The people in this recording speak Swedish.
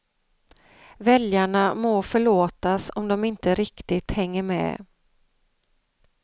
Väljarna må förlåtas om de inte riktigt hänger med.